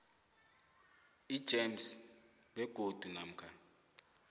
igems begodu namkha